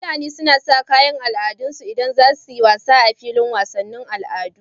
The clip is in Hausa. Fulani suna Saka kayan al'adarsu idan zasuyi wasa a filin wasan al'adu